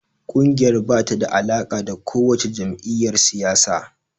Ƙungiyar ba ta da alaƙa da kowace jam’iyyar siyasa.